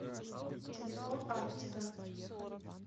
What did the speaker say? телефон арктика